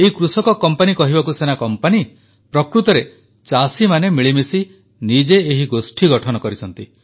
ଏହି କୃଷକ କମ୍ପାନୀ କହିବାକୁ ସିନା କମ୍ପାନୀ ପ୍ରକୃତରେ ଚାଷୀମାନେ ମିଳିମିଶି ନିଜେ ଏହି ଗୋଷ୍ଠୀ ଗଠନ କରିଛନ୍ତି